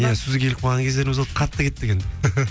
иә сөзге келіп қалған кездеріміз болды қатты кеттік енді